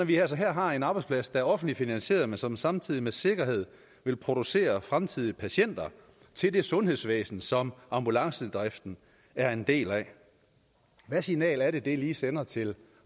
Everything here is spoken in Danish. vi altså har en arbejdsplads der er offentligt finansieret men som samtidig med sikkerhed vil producere fremtidige patienter til det sundhedsvæsen som ambulancedriften er en del af hvad signal er det lige det sender til